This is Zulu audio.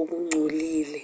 okungcolile